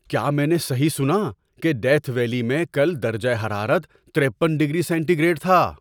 کیا میں نے صحیح سنا کہ ڈیتھ ویلی میں کل درجہ حرارت ترپن ڈگری سینٹی گریڈ تھا؟